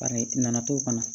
Bari nana to fana